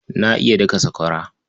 Ba iya daka sakwara.